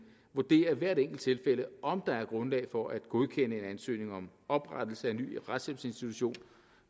vurderer i hvert enkelt tilfælde om der er grundlag for at godkende en ansøgning om oprettelse af ny retshjælpsinstitution